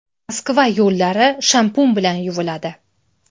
Moskva yo‘llari shampun bilan yuviladi.